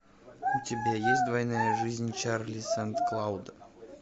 у тебя есть двойная жизнь чарли сан клауда